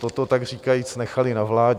toto tak říkajíc nechali na vládě.